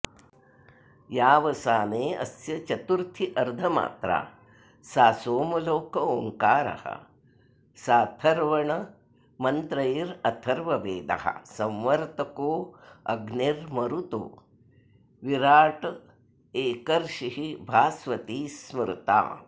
यावसानेऽस्य चतुर्थ्यर्धमात्रा सा सोमलोक ओङ्कारः साथर्वणमन्त्रैरथर्ववेदः संवर्तकोऽग्निर्मरुतो विराडेकर्षिर्भास्वती स्मृता